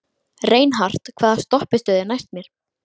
Reinhart, hvaða stoppistöð er næst mér?